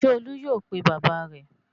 Ṣé Olú yóò pe bàbá rẹ̀?